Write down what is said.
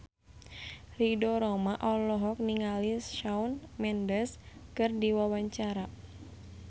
Ridho Roma olohok ningali Shawn Mendes keur diwawancara